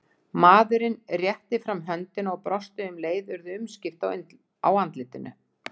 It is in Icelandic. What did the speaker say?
Maðurinn rétti fram höndina og brosti og um leið urðu umskipti á andlitinu.